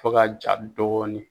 Fo ka ja dɔɔnin